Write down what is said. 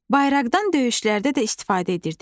Bayraqdan döyüşlərdə də istifadə edirdilər.